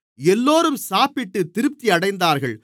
எல்லோரும் சாப்பிட்டுத் திருப்தி அடைந்தார்கள்